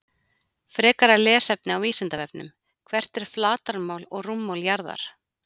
Frekara lesefni á Vísindavefnum: Hvert er flatarmál og rúmmál jarðar?